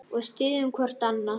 Og styðjum hvort annað.